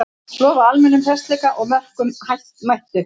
Lofa almennum hressleika og mörkum, mættu!